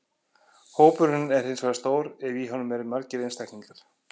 Hópurinn er hins vegar stór ef í honum eru margir einstaklingar.